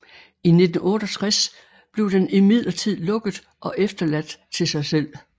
I 1968 blev den imidlertid lukket og efterladt til sig selv